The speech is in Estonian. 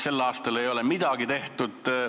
Sel aastal ei ole midagi tehtud.